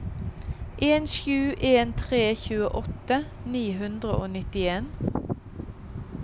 en sju en tre tjueåtte ni hundre og nittien